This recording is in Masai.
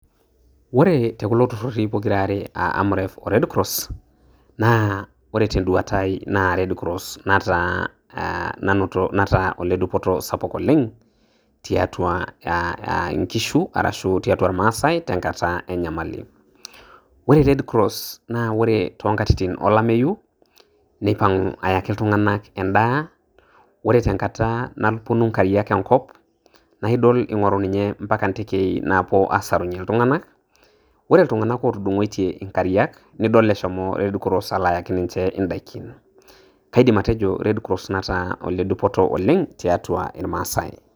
Ore tekulo tururi pokira are aa AMREF O RED CROSS naa ore tenduata ai naa red cross nataa aa nanoto nataa aa oledupoto sapu oleng tiatua aa a inkishu arashu tiatua irmaasae tenkata enyamali . ore red cross naa ore too nkatitin olameyu nipangu ayaki iltunganak endaa ore tenakata naponu nkariak enkop naa idol ingoru ninye ompaka intekei naapuo asarunyie iltunganak ,ore iltunganak otudungoitie nkariak nidol eshomo red cross ayaki ninche indaikin ,kaidim atejo red cross nataa ole dupoto oleng tiatua irmaasae